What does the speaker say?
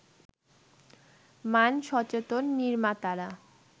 মান-সচেতন নির্মাতারা